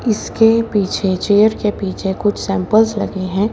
इसके पीछे चेयर के पीछे कुछ सैंमपलस लगे है।